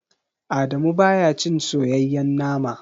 Adamu baya cin soyayyen nama.